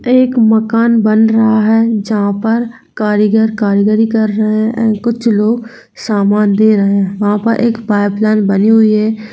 एक मकान बन रहा है जहां पर कारीगर कारीगिरी कर रहे है कुछ लोग सामान दे रहे है वहाँ पर एक पाइपलाइन बनी हुई है।